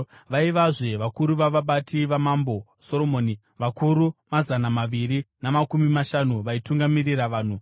Vaivazve vakuru vavabati vamambo Soromoni, vakuru mazana maviri namakumi mashanu vaitungamirira vanhu.